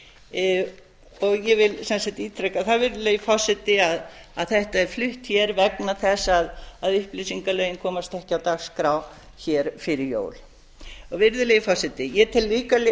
athugunar ég vil sem sagt ítreka það virðulegi forseti að þetta er flutt vegna þess að upplýsingalögin komast ekki á dagskrá fyrir jól virðulegi forseti ég tel líka